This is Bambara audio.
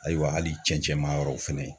Ayiwa hali cɛncɛn maa yɔrɔw fɛnɛ